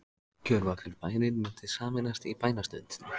Gjörvallur bærinn mundi sameinast í bænastund.